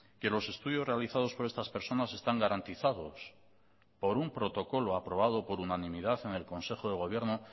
que los estudios realizados por estas personas están garantizados por un protocolo aprobado por unanimidad en el consejo de gobierno